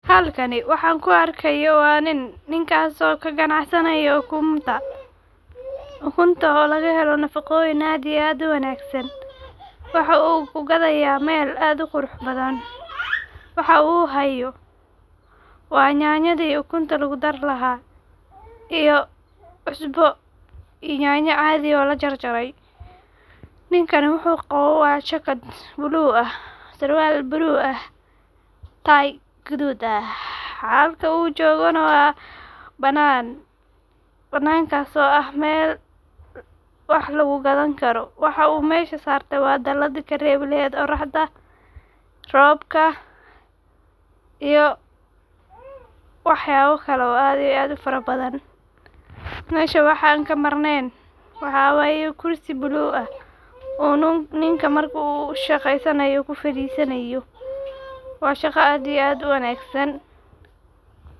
Halkani waxan kuarkayo waa nin, ninkas oo kacanacsanayo okunta, ukunta oo lagahelo nafaqoyin aad iyo aad uwagsan, waxa uguqadaya mel aad uquraxbadhan waxa uhayaa waa nyayada ukunta laku dari laaha, iyo cusbo iyoh nyanya cadhi oo olajarjare ninkanah wuxu qabo waa jacket blue ah sirwal blue iyo tay gadud ah halka uu ujogoo nah waa banan, banankas oo ah meel wax lagu gadani karo waxa uu mesha sarte waa dalad daladi karebi lehed oroxda, robka iyo waxyabo kale oo aad iyo aad ufarabadhan, mesha waxaa ankamarnen waxa wayeh kursi blue ah oo ninka marku shaqesanayo kufadisanayo waa shaqo aad iyo aad uwanagsan.